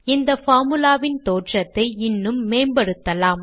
இந்த பார்முலா வின் தோற்றத்தை இன்னும் மேம்படுத்தலாம்